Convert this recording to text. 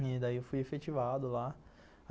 E daí eu fui efetivado lá.